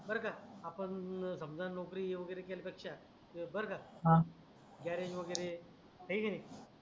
आपण समजा नोकरी वगेरे केल्या पेक्षा बर का हा गॅरेज वगेरे आहे की नाही